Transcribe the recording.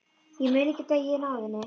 Ég mun ekki deyja í náðinni.